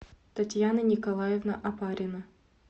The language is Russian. татьяна николаевна опарина